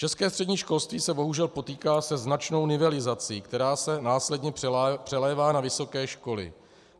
České střední školství se bohužel potýká se značnou nivelizací, která se následně přelévá na vysoké školy.